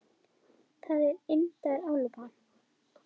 Það er indæl álfa.